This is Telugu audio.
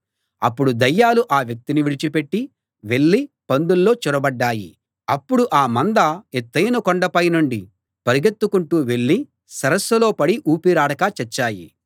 అప్పుడు దయ్యాలు ఆ వ్యక్తిని విడిచి పెట్టి వెళ్ళి పందుల్లో చొరబడ్డాయి అప్పుడు ఆ మంద ఎత్తయిన కొండపై నుండి పరుగెత్తుకుంటూ వెళ్ళి సరస్సులో పడి ఊపిరాడక చచ్చాయి